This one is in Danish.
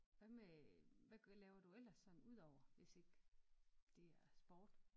Hvad med hvad hvad laver du ellers udover hvis ikke det er sport